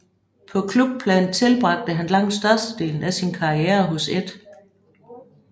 På klubplan tilbragte han langt størstedelen af sin karriere hos 1